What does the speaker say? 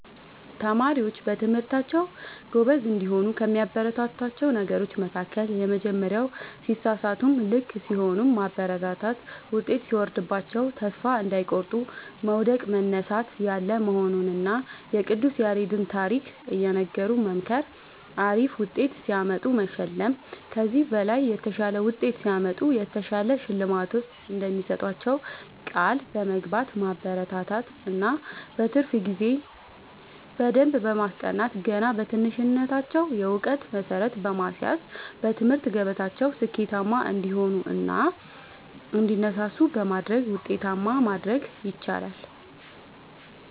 ተማሪዎች በትምህርታቸዉ ጎበዝ እንዲሆኑ ከሚያበረታቷቸዉ ነገሮች መካከል:- የመጀመሪያዉ ሲሳሳቱም ልክ ሲሆኑም ማበረታታት ዉጤት ሲወርድባቸዉም ተስፋ እንዳይቆርጡ መዉደቅ መነሳት ያለ መሆኑንና የቅዱስ ያሬድን ታሪክ እየነገሩ መምከር አሪፍ ዉጤት ሲያመጡ መሸለም ከዚህ በላይ የተሻለ ዉጤት ሲያመጡ የተሻለ ሽልማት እንደሚሰጧቸዉ ቃል በመግባት ማበረታታት እና በትርፍ ጊዜ በደንብ በማስጠናት ገና በትንሽነታቸዉ የእዉቀት መሠረት በማስያዝ በትምህርት ገበታቸዉ ስኬታማ እንዲሆኑ እና እንዲነሳሱ በማድረግ ዉጤታማ ማድረግ ይቻላል።